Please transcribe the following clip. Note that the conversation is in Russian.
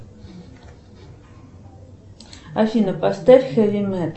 афина поставь хеви метал